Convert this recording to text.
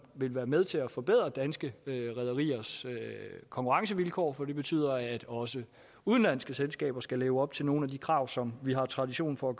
vil være med til at forbedre danske rederiers konkurrencevilkår for det betyder at også udenlandske selskaber skal leve op til nogle af de krav som vi har tradition for at